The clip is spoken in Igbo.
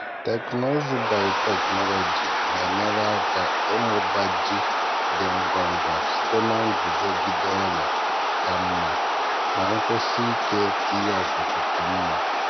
teknụzụ biotechnology na-enyere aka ịmụba ji dị ngwa ngwa site na nguzogide ọrịa ka mma maka nkwụsi ike ihe ọkụkụ ka mma.